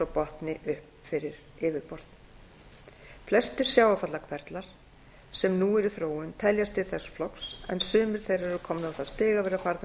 botni upp fyrir yfirborð flestir sjávarfallahverflar sem nú eru í þróun teljast til þessa flokks en sumir þeirra eru komnir á það stig að vera farnir